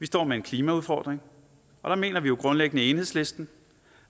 står med en klimaudfordring og der mener vi jo grundlæggende i enhedslisten